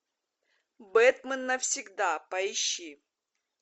бэтмен навсегда поищи